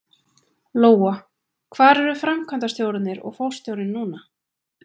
Lóa: Hvar eru framkvæmdastjórarnir og forstjórinn núna?